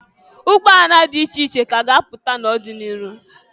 Ụgbọala dị iche ka a ga-apụta n'ọdị n'iru.